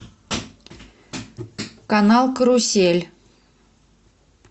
канал карусель